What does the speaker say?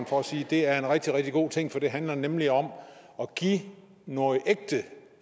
for at sige at det er en rigtig rigtig god ting for det handler nemlig om at give noget ægte